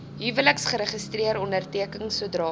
huweliksregister onderteken sodra